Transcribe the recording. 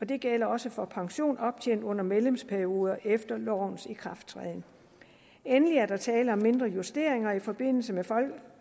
det gælder også for pension optjent under medlemsperioder efter lovens ikrafttræden endelig er der tale om mindre justeringer i forbindelse med